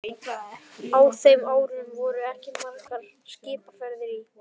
Á þeim árum voru ekki margar skipaferðir í